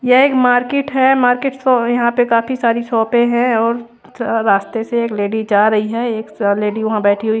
यह एक मार्केट है मार्केट तो यहां पे काफी सारी शॉपे है और रास्ते से एक लेडी जा रही है एक स लेडी वहां बैठी हुई--